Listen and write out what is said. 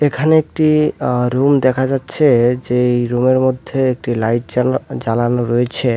এখানে একটি আহ্ রুম দেখা যাচ্ছে-এ যেই রুমের মধ্যে একটি লাইট জ্বালা জ্বালানো রয়েছে।